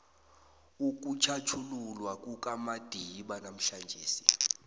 ukutjhatjhululwa kukamadiba namhlanjesi